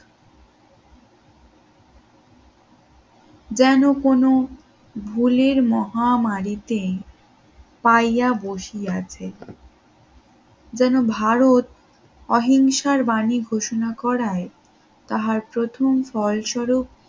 যেন কোন ভুলের মহামারীতে পাইয়া বসিয়াছে যেন ভারত অহিংসার বাণী ঘোষণা করায় তাহার প্রথম ফলস্বর